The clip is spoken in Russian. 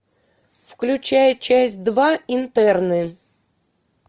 включай часть два интерны